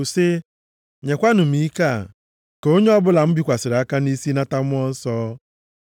sị, “nyekwanụ m ike a. Ka onye ọbụla m bikwasịrị aka nʼisi nata Mmụọ Nsọ.”